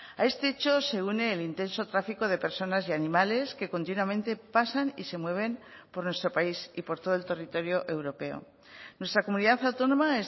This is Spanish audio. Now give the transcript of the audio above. a este hecho se une el intenso tráfico de personas y animales que continuamente pasan y se mueven por nuestro país y por todo el territorio europeo nuestra comunidad autónoma